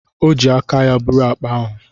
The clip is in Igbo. O ji aka ya buru akpa ahụ.